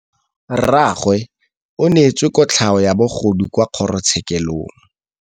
Rragwe o neetswe kotlhaô ya bogodu kwa kgoro tshêkêlông.